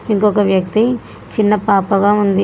ఇంకోక వ్యక్తి చిన్న పాప గా ఉంది.